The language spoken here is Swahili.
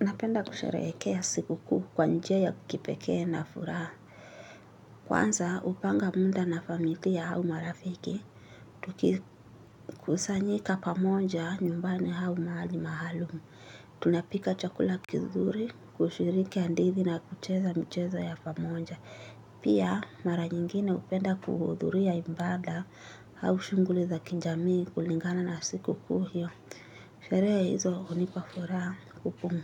Napenda kusherehekea sikukuu kwa njia ya kipekee na furaha. Kwanza, hupanga mda na familia au marafiki. Tukikusanyika pamoja nyumbani au mahali maalum. Tunapika chakula kizuri, kushiriki hadithi na kucheza michezo ya pamoja. Pia, mara nyingine hupenda kuhudhuria imbada hau shunghuli za kijamii kulingana na sikukuu hiyo. Sherehe hizo hunipa furaha kupum